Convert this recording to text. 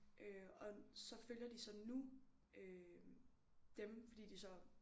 Øh og så følger de så nu øh dem fordi de så